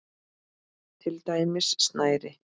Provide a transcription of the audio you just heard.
Til dæmis snæri.